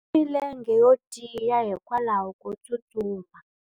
Milenge yo tiya hikwalaho ko tsustuma.